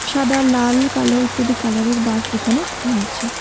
সাদা লাল কালো ইত্যাদি কালারের বাস এখানে রয়েছে।